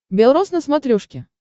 бел роз на смотрешке